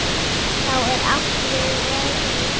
Þá er átt við veðrið.